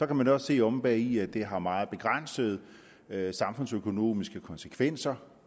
kan man også se omme bagi at det har meget begrænsede samfundsøkonomiske konsekvenser